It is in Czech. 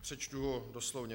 Přečtu ho doslovně.